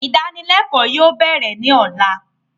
Idanilẹkọ yóò bẹ̀rẹ̀ ni ọ̀la